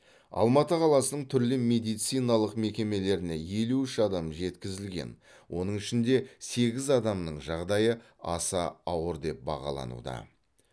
алматы қаласының түрлі медициналық мекемелеріне елу үш адам жеткізілген оның ішінде сегіз адамның жағдайы аса ауыр деп бағалануда